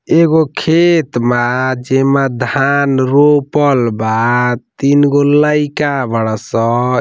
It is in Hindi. एगो खेत बा जेमा धान रोपल बा तीन गो लईका बड़ासन।